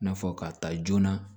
N'a fɔ k'a ta joona